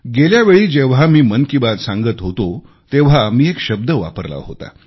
गेल्या वेळी जेव्हा मी मन की बात सांगत होतो तेव्हा मी एक शब्द वापरला होता